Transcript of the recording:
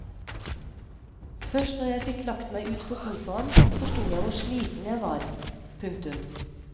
Først når jeg fikk lagt meg ut på sofaen forstod jeg hvor sliten jeg var. punktum